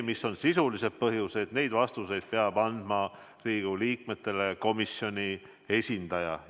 Mis on sisulised põhjused – neid vastuseid peab andma Riigikogu liikmetele komisjoni esindaja.